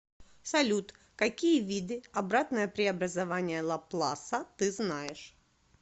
салют какие виды обратное преобразование лапласа ты знаешь